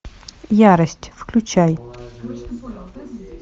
ярость включай